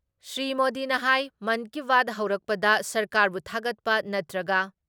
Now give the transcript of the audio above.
ꯁ꯭ꯔꯤ ꯃꯣꯗꯤꯅ ꯍꯥꯏ ꯃꯟꯀꯤꯕꯥꯠ ꯍꯧꯔꯛꯄꯗ ꯁꯔꯀꯥꯔꯕꯨ ꯊꯥꯒꯠꯄ ꯅꯠꯇ꯭ꯔꯒ